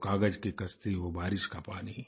वो कागज की कश्ती वो बारिश का पानी